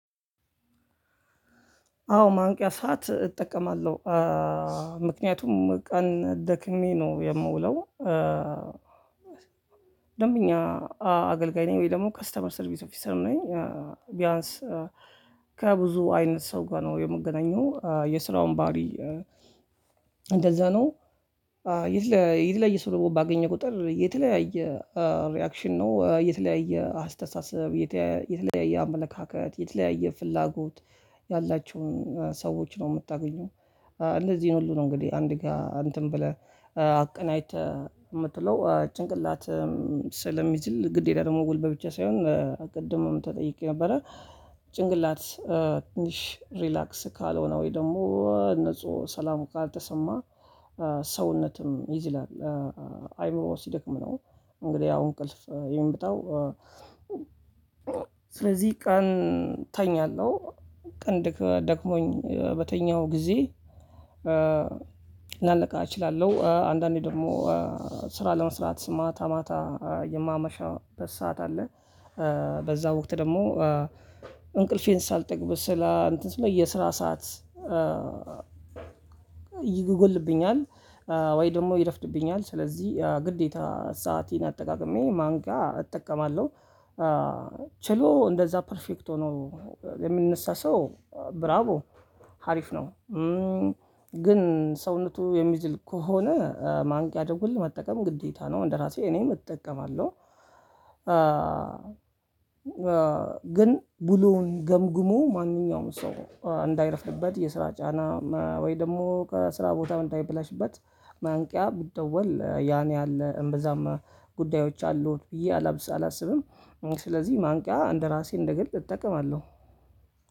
አዎ ማንቂያ ሰዓት እጠቀማለሁ። ምክንያቱም ቀን ደክሜ ነው የምውለው ደንብኛ አገልጋይ ነኝ ወይ ደግሞ ከስተመር ሰርቪስ ኦፊሰር ነኝ ቢያንስ ከብዙ አይነት ሰው ጋር ነው የምገናኘው የስራውን ባህሪ እንደዛ ነው የተለያየ ሰው ባገኘ ቁጥር የተለያየ ሪአክሽን ነው። የተለያየ አስተሳሰብ፤ የተለያየ አመለካከት፤ የተለያየ ፍላጎት ያላቸውን ሰዎች ነው የምታገኙት። እነዚህን ሁሉ ነው እንግዲህ አንድ ጋር እንትን ብለህ አቀናጅተህ የምትለው ጭንቅላትህ ስለሚዝል ግዴታ ደግሞ ገልበት ብቻ ሳይሆን ቅድምም ተጠይቄ ነበረ። ጭንቅላት ትንሽ ሪላክስ ካልሆነ ወይ ደግሞ ንጹህ ሰላም ካልተሰማ ሰውነትም ይዝላል። አይምሮ ሲደክም ነው እንግዲህ አሁን እንቅልፍ የሚመጣው። ስለዚህ ቀን ተኛለሁ። ቀን ደግሞኝ በተኛው ጊዜ ላልነቃ እችላለሁ። አንዳንዴ ደግሞ ስራ ለመስራት ማታ ማታ የማመሽበት ሰዓት አለ። በዛ ወቅት ደግሞ እንቅልፌን ሳልጠግብ ስላ እንትን ስ የስራ ሰዓት ይጎድልብኛል። ወይ ደግሞ ይረፍድብኛል። ስለዚህ ግዴታ ሰአቴን አጠቃቅሜ ማንቅያ እጠቀማለሁ። ችሎ እንደዛ ፐርፌክት ሆኖ የምንነሳ ሰው ብራቦ ሀሪፍ ነው። ግን ሰውነቱ የሚዝል ከሆነ ማንቂያ ደወል መጠቀም ግዴታ ነው። እንደራሴ እኔም እጠቀማለሁ። ዝም ብሎ ገምግሞ ማንኛውም ሰው እንዳይረፍድበት የስራ ጫና ወይ ደግሞ ከስራ ቦታ እንዳይበላሽበት ጉዳዮች አሉ ብዬ አስቤ አላስብም። ስለዚህ ማንቂያ እንደራሴ እንደግል እጠቀማለሁ።